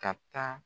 Ka taa